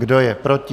Kdo je proti?